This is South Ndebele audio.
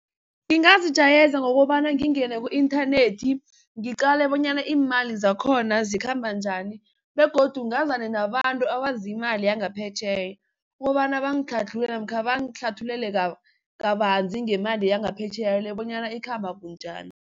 Ngingazijayeza ngokobana ngingene ku-inthanethi ngiqale bonyana imali zakhona zikhamba njani begodu ngazane nabantu abazi imali yangaphetjheya, ukobana bangadlhadhlule namkha bangihlathulele kabanzi ngemali yangaphetjheya le bonyana ikhamba bunjani.